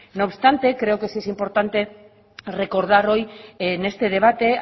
no obstante creo que sí es importante recordar hoy en este debate